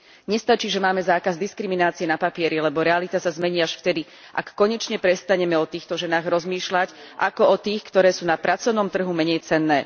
Nestačí, že máme zákaz diskriminácie na papieri, lebo realita sa zmení až vtedy, ak konečne prestaneme o týchto ženách rozmýšľať ako o tých, ktoré sú na pracovnom trhu menejcenné.